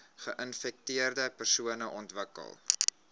geinfekteerde persone ontwikkel